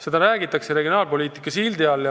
Seda tehakse regionaalpoliitika sildi all.